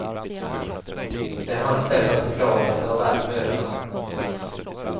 Det är hans sätt att förklara att det var värt mödan.